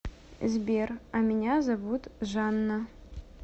сбер а меня зовут жанна